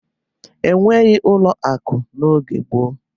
E nweghi ụlọ akụ n'oge gboo.